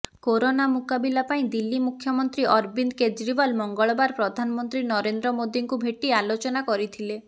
corona ମୁକାବିଲା ପାଇଁ ଦିଲ୍ଲୀ ମୁଖ୍ୟମନ୍ତ୍ରୀ ଅରବିନ୍ଦ କେଜରିଓ୍ୱାଲ ମଙ୍ଗଳବାର ପ୍ରଧାନମନ୍ତ୍ରୀ ନରେନ୍ଦ୍ର ମୋଦୀଙ୍କୁ ଭେଟି ଆଲୋଚନା କରିଥିଲେ